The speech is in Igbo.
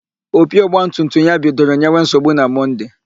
Opi ọgbatumtum ya bidoro nyewe nsogbu na Mọnde.